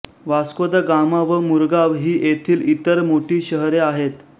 वास्को दा गामा व मुरगाव ही येथील इतर मोठी शहरे आहेत